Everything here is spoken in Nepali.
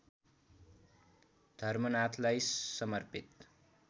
धर्मनाथलाई समर्पित